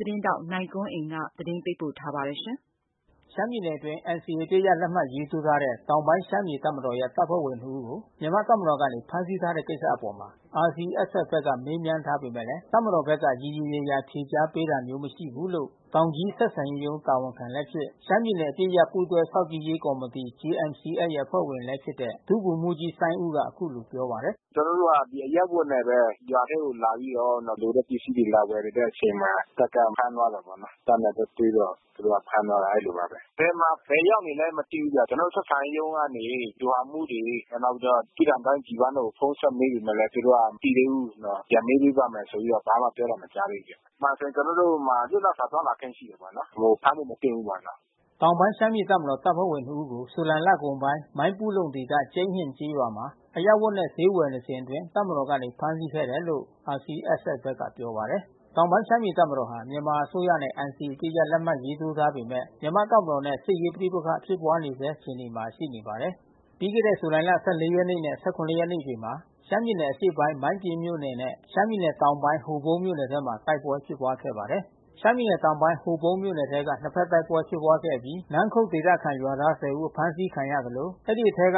သတင်းထောက် နိုင်ကွန်းအိန် ကနေ သတင်းပေးပို့ ထားပါတယ်။ ရှမ်းပြည်နယ်အတွင်း NCA အပစ်ရပ် လက်မှတ်ရေးထိုးထားတဲ့ တောင်ပိုင်း ရှမ်းပြည်တပ်မတော်ရဲ့ တပ်ဖွဲ့ဝင်နှစ်ဦးကို မြန်မာ့တပ်မတော်ကနေ ဖမ်းဆီးထားတဲ့ ကိစ္စအပေါ် RCSS ဘက်က မေးမြန်းထားပေမဲ့ တပ်မတော်ဘက်က ရေရေရာရာ ဖြေကြားတာ မရှိဘူးလို့ တောင်ကြီး ဆက်ဆံရေးရုံး တာဝန်ခံလည်းဖြစ် ရှမ်းပြည်နယ် အပစ်ရပ် ပူးတွဲစောင့်ကြည့်ရေး ကော်မတီ JMC-S အဖွဲ့ဝင်လည်း ဖြစ်တဲ့ ဒုဗိုလ်မှူးကြီး စိုင်းဦးက အခုလို ပြောပါတယ်။ “ ကျွန်တော်တို့က အရပ်ဝတ်နဲ့ဘဲ ရွာထဲကိုလာပြီးတော့ လိုတဲ့ပစ္စည်းတွေ လာဝယ်နေတဲ့ အချိန်မှာ တပ်ကဖမ်းသွားတာ ပေါ့နော်။ တပ်နဲ့သွားတွေ့တော့ သူတို့က ဖမ်းသွားတယ် အဲဒီလိုပါဘဲ။ ဘယ်မှာ ဘယ်ရောက်နေလဲ မသိဘူးဗျ။ ကျွန်တော်တို့ ဆက်ဆံရေးရုံး ကနေ ဗျူဟာမှူးတွေ၊ နောက်ပြီးတော့ တြိဂံတိုင်း G1 တွေကို ဖုန်းဆက်မေးပေမယ့်လည်း သူတို့က မသိသေးဘူး။ ပြန်မေးပေးပါ့မယ်ဆိုပြီးတော့မှ ဘာမှပြောတာ မကြားသေးဘူးဗျ။ အမှန်ဆို ကျွန်တော်တို့ လွတ်လပ်စွာ သွားလာခွင့် ရှိတယ်ပေါ့နော်။ ဖမ်းဖို့မသင့်ဘူး ပေါ့နော်။” တောင်ပိုင်း ရှမ်းပြည်တပ်မတော် တပ်ဖွဲ့ဝင်နှစ်ဦးကို ဇူလိုင်လ ကုန်ပိုင်း မိုင်းပူးလုံ ဒေသ ကျိန်းဟင်ကျေးရွာမှာ အရပ်ဝတ်နဲ့ ဈေးဝယ် နေစဉ်အတွင်း တပ်မတော်ကနေ ဖမ်းဆီးသွားခဲ့တယ်လို့ RCSS ဘက်က ပြောပါတယ်။ တောင်ပိုင်း ရှမ်းပြည်တပ်မတော်ဟာ မြန်မာအစိုးရနဲ့ NCA အပစ်ရပ် လက်မှတ်ရေးထိုး ထားပေမယ့် မြန်မာ့တပ်မတော်နဲ့ စစ်ရေး ပဋိပက္ခ ဖြစ်ပွါးနေဆဲ အခြေအနေမှာ ရှိနေပါသေးတယ်။ ပြီးခဲ့တဲ့ ဇူလိုင်လ ရက်နဲ့ ရက်နေ့တွေမှာရှမ်းပြည်နယ် အရှေ့ပိုင်း မိုင်းပျဉ်းမြို့နယ်နဲ့ ရှမ်းပြည်တောင်ပိုင်း ဟိုပုန်းမြို့နယ်တွေ ထဲမှာ တိုက်ပွဲ ဖြစ်ပွါးခဲ့ပါတယ်။ ရှမ်းပြည်နယ် တောင်ပိုင်း ဟိုပုန်းမြို့နယ်ထဲမှာ နှစ်ဖက်တိုက်ပွဲ ဖြစ်ပွါးခဲ့အပြီးနန်းခုတ် ဒေသခံ ရွာသား ဦး အဖမ်းဆီး ခံရသလို အဲဒီ အထဲ ဦး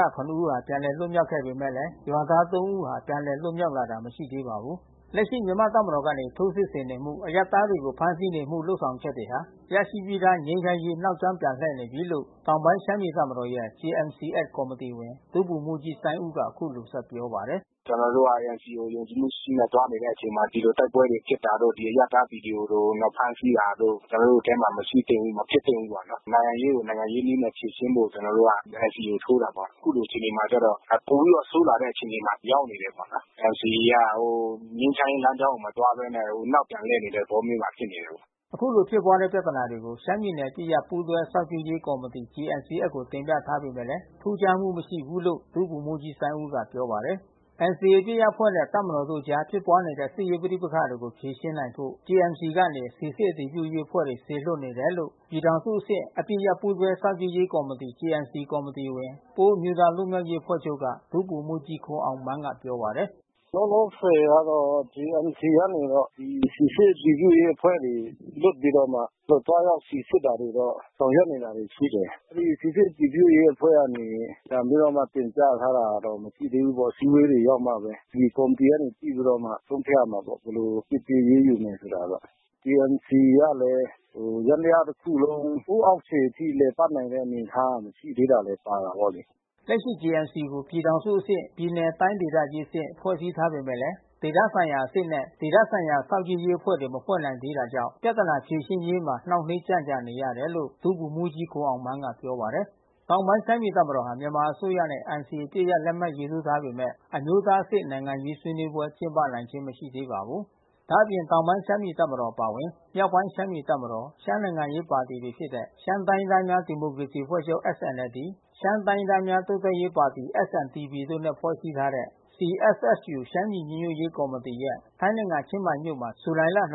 ပြန်လည် လွတ်မြောက်လာပေမဲ့ ရွာသား ၃ ဦးဟာ ပြန်လည် လွတ်မြောက်လာတာ မရှိသေးပါဘူး။ လက်ရှိ မြန်မာ့တပ်မတော်ကနေ ထိုးစစ်ဆင်နေမှု အရပ်သားတွေကို ဖမ်းဆီးနေမှှု လုပ်ဆောင်ချက်တွေဟာ ရရှိပြီးသား ငြိမ်းချမ်းရေး နောက်ကြောင်း ပြန်လှည့်နေပြီလို့ တောင်ပိုင်း ရှမ်းပြည်တပ်မတော်ရဲ့JMC-S ကော်မတီဝင် ဒုဗိုလ်မှူးကြီး စိုင်းဦး က အခုလို ပြောပါတယ်။ “ ကျွန်တော်တို့က NCA ကို ယုံကြည်မှုရှိရှိနဲ့ သွားနေတဲ့ အချိန်မှာ ဒီလို တိုက်ပွဲဖြစ်တာတို့ ဒီလို အရပ်သားပြည်သူတွေကို ဖမ်းဆီးတာတို့ ကျွန်တော်တို့ထဲမှာ မရှိသင့်ဘူး။ မဖြစ်သင့်ဘူး ပေါ့နော်။ နိုင်ငံရေးကို နိုင်ငံရေးနည်းနဲ့ ဖြေရှင်းဖို့ ကျွန်တော်တို့ NCA ကို ထိုးတာပေါ့နော်။ အခုလို အခြေအနေမှာ ကျတော့ ပိုပြီးတော့ ဆိုးလာတဲ့ အခြေအနေမှာ ရောက်နေတယ် ပေါ့နော်။ NCA အရ ငြိမ်းချမ်းရေး လမ်းကြောင်းကို မသွားဘဲနဲ့ နောက်ပြန်လှည့်နေတဲ့ သဘောမျိုး ဖြစ်နေတယ်။” အခုလို ဖြစ်ပွါးနေတဲ့ ပြဿနာတွေကို ရှမ်းပြည်နယ် အပစ်ရပ် ပူးတွဲစောင့်ကြည့်ရေး ကော်မတီ JMC-S တင်ပြထားပေမဲ့လည်း ထူးခြားမှု မရှိဘူးလို့ ဒုဗိုလ်မှူးကြီး စိုင်းဦးက ပြောပါတယ်။ NCA အပစ်ရပ်အဖွဲ့နဲ့ တပ်မတော်တို့ အကြား ဖြစ်ပွါးနေတဲ့ စစ်ရေးပဋိပက္ခတွေကို ဖြေရှင်းနိုင်ဖို့ JMC ကနေ စိစစ်အတည်ပြုရေး အဖွဲ့တွေ စေလွှတ်နေတယ်လို့ ပြည်ထောင်စုအဆင့် အပစ်ရပ်ပူးတွဲ စောင့်ကြည့်ရေး ကော်မတီ JMC ကော်မတီဝင် ပအိုဝ်းအမျိုးသား လွတ်မြောက်ရေး အဖွဲ့ချုပ်က ဒုဗိုလ်မှူးကြီး ခွန်အောင်မန်းက ပြောပါတယ်။ “ လောလောဆယ်ကတော့ JMC ကနေပြီးတော့ စိစစ် အတည်ပြုရေး အဖွဲ့တွေ လွှတ်ပြီးတော့မှ သွားရောက် စိစစ်တာတွေတော့ ဆောင်ရွက်နေတာတွေ ရှိတယ်။ ဒီ စိစစ်အတည်ပြုရေး အဖွဲ့ကနေ ပြန်ပြီးတော့ တင်ပြထားတဲ့ဟာတော့ မရှိသေးဘူးပေါ့လေ။ အစည်းဝေးတွေ ရောက်မှဘဲ ဒီကော်မတီတွေ ကနေ ကြည့်ပြီးတော့မှ ဆုံးဖြတ်ရမှာပေါ့။ ဘယ်လို အပြစ်ပေး အရေးယူရမယ်ဆိုတာ။JMC ကလည်း ယန္တရား တခုလုံး ဟိုးအောက်ခြေအထိ လည်ပတ်နေတဲ့ အနေအထား မရှိသေးတာလည်း ပါတယ်ပေါ့လေ။” လက်ရှိ JMC ကို ပြည်ထောင်စုအဆင့် ပြည်နယ်၊ တိုင်းဒေသကြီး အဆင့် ဖွဲ့စည်းထားပေမယ့် ဒေသဆိုင်ရာအဆင့်နဲ့ ဒေသဆိုင်ရာ စောင့်ကြည့်ရေးအဖွဲ့ မဖွဲ့နိုင်သေးတာကြောင့်ပြဿနာ ဖြေရှင်းရေးမှာ နှောင့်နှေး ကြန့်ကြာနေရတယ်လို့ ဒုဗိုလ်မှူးကြီး ခွန်အောင်မန်းက ပြောပါတယ်။ တောင်ပိုင်း ရှမ်းပြည်တပ်မတော်ဟာ မြန်မာအစိုးရနဲ့NCA အပစ်ရပ်လက်မှတ်ရေးထိုး ထားပေမယ့် ရှမ်းအမျိုးသားအဆင့် နိုင်ငံရေး ဆွေးနွေးပွဲ ကျင်းပနိုင်ခြင်း မရှိသေးပါဘူး။ ဒါ့အပြင် တောင်ပိုင်းရှမ်းပြည် တပ်မတော် အပါအဝင် မြောက်ပိုင်း ရှမ်းပြည်တပ်မတော် ရှမ်းနိုင်ငံရေး ပါတီတွေဖြစ်တဲ့ ရှမ်းတိုင်းရင်း သားများ ဒီမိုကရေစီအဖွဲ့ချုပ်SNLD ၊ ရှမ်းတိုင်းရင်းသားများ တိုးတက်ရေးပါတီ SNDP တို့နဲ့ဖွဲ့စည်းထားတဲ့ CSSU ရှမ်းပြည်ညီညွတ်ရေး ကော်မတီရဲ့ထိုင်းနိုင်ငံ ချင်းမိုင်မြို့မှာ ဇူလိုင် ရက်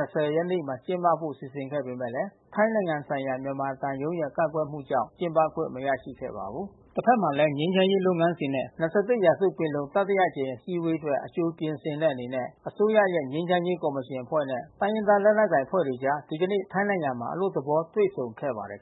နေ့မှာ ကျင်းပဖို့ စီစဉ်ခဲ့ပေမယ့်ထိုင်းနိုင်ငံဆိုင်ရာ မြန်မာသံရုံးရဲ့ ကန့်ကွက်မှုကြောင့် ကျင်းပခွင့် မရခဲ့ပါဘူး။ တဖက်မှာလည်း ငြိမ်းချမ်းရေး လုပ်ငန်းစဉ်နဲ့ ၂၁ ရာစု ပင်လုံ တတိယအကြိမ်အစည်းအဝေး အတွက် အကြိုပြင်ဆင်တဲ့ အနေနဲ့ အစိုးရရဲ့ ငြိမ်းချမ်းရေး ကော်မရှင်အဖွဲ့နဲ့တိုင်းရင်းသား လက်နက်ကိုင် အဖွဲ့တွေအကြား ဒီကနေ့ ထိုင်းနိုင်ငံမှာ အလွတ်သဘော တွေ့ဆုံ ခဲ့ပါတယ်